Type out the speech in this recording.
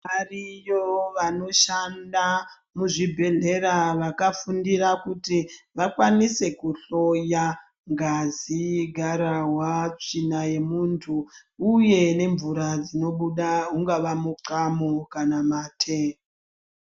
Variyo vanoshanda muzvibhedhlera vakafundira kuti vakwanise kuhloya ngazi, gararwa, tsvina yemuntu uye nemvura dzinobuda pamuxamo kana mate.